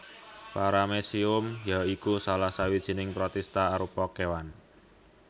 Paramecium ya iku salah sawijining protista arupa kéwan